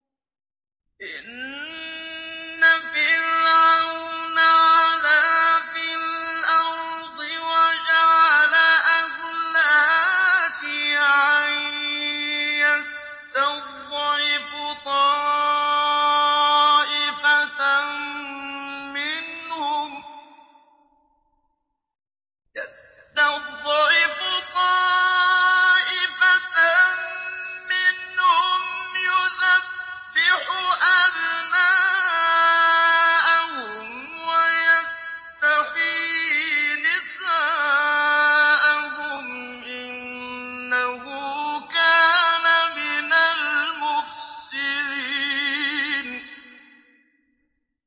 إِنَّ فِرْعَوْنَ عَلَا فِي الْأَرْضِ وَجَعَلَ أَهْلَهَا شِيَعًا يَسْتَضْعِفُ طَائِفَةً مِّنْهُمْ يُذَبِّحُ أَبْنَاءَهُمْ وَيَسْتَحْيِي نِسَاءَهُمْ ۚ إِنَّهُ كَانَ مِنَ الْمُفْسِدِينَ